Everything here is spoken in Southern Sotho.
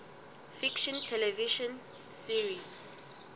fiction television series